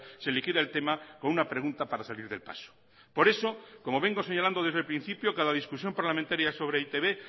se liquida el tema con una pregunta para salir del paso por eso como vengo señalando desde el principio cada discusión parlamentaria sobre e i te be